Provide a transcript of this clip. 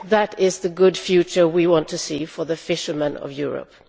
That is the good future we want to see for the fishermen of Europe.